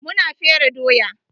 Mu na fere doya.